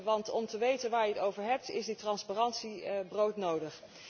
Want om te weten waar je het over hebt is die transparantie broodnodig.